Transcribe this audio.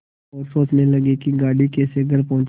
और सोचने लगे कि गाड़ी कैसे घर पहुँचे